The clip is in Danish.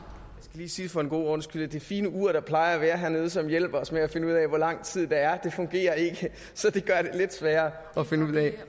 lige sige for en god ordens skyld at det fine ur der plejer at være hernede og som hjælper os med at finde ud af hvor lang tid der er fungerer så det gør det lidt sværere at finde ud af